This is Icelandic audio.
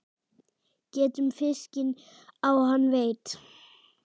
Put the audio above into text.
Getum fiskinn á hann veitt.